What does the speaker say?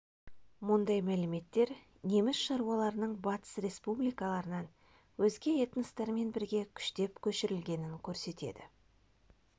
мұндай мәліметтер неміс шаруаларының батыс республикаларынан өзге этностармен бірге күштеп көшірілгенін көрсетеді